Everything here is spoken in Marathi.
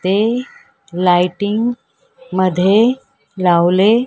ते लाइटिंग मध्ये लावले --